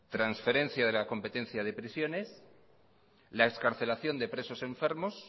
transferencia de la competencia de prisiones la excarcelación de presos enfermos